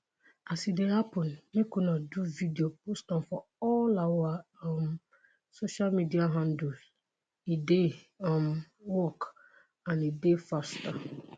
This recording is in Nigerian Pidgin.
“as e dey happun make you do video post am for all our um social media handles e dey um work and e dey faster”.